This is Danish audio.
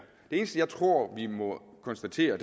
eneste jeg tror vi må konstatere